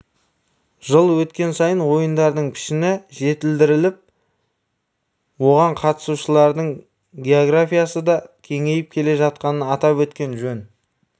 жыл өткен сайын ойындардың пішіні жетілдіріліп оған қатысушылардың географиясы да кеңейіп келе жатқанын атап өткен жөн